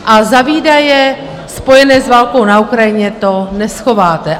A za výdaje spojené s válkou na Ukrajině to neschováte.